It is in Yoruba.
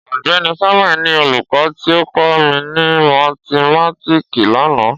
Ọgbẹni Samuel ni olukọ ti o kọ mi ni mathimatiki lana.